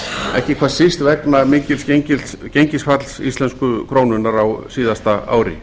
ekki hvað síst vegna mikils gengisfalls íslensku krónunnar á síðasta ári